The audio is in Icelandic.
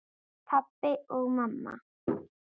Pabbi og mamma